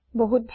বহুত ভাল